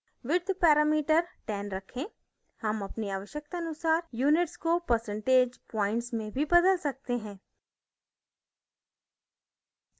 width parameter 10 रखें हम अपनी आवश्यकतानुसार units को percentage प्वॉइंट्स में भी बदल सकते हैं